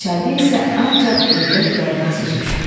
Çayda isə ancaq ördək və qaz üzür.